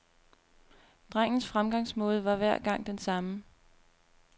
Drengens fremgangsmåde var hver gang den samme.